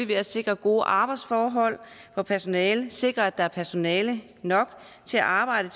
ved at sikre gode arbejdsforhold for personalet sikre at der er personale nok til at arbejde